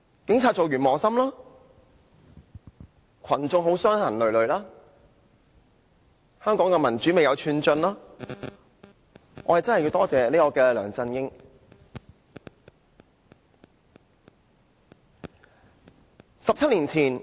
警察當完磨心，群眾傷痕累累，香港的民主未有寸進，我們真的要多謝梁振英。